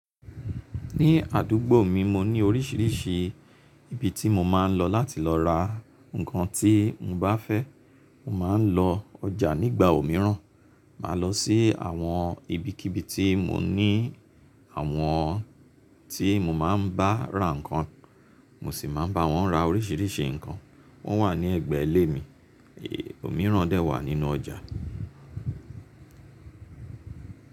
Ní àdúgbò mi, mo ní oríṣiríṣi ibi tí mo máa ń lọ láti lọ ra nǹkan tí mo bá fẹ́. Mo máa ń lọ ọjà nígbà òmíràn, màá lọ sí àwọn ibikíbi tí mo ní àwọn tí mo máa ń bá ra nǹkan, mo sì máa ń bá wọn ra oríṣiríṣi nǹkan. Wọ́n wà ní ẹ̀gbẹ́ ilé mi, èé, òmíràn dẹ̀ wà nínú ọjà.